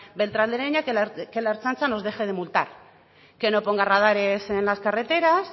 beltrán de heredia que la ertzaintza nos deje de multar que no ponga radares en las carreteras